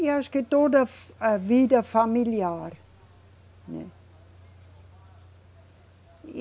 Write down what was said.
E acho que toda a vida familiar, né. E